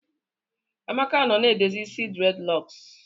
Amaka nọ na edozi isi dreadlocks